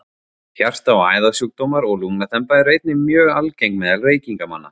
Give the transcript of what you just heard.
Hjarta- og æðasjúkdómar og lungnaþemba eru einnig mjög algeng meðal reykingamanna.